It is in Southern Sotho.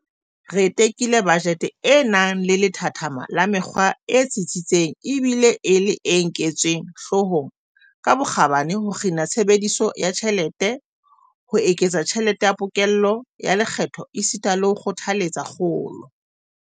Re tekile bajete e nang le lethathama la mekgwa e tsitsitseng ebile e le e nketsweng hloohong ka bokgabane ho kgina tshebediso ya tjhelete, ho eketsa tjhelete ya pokello ya lekgetho esita le ho kgothaletsa kgolo.